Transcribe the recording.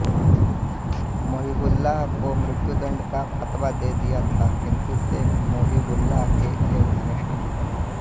मुहिबउल्लाह को मृत्युदण्ड का फतवा दे दिया था किन्तु शेख मुहिबउल्लाह के एक घनिष्ठ मित्र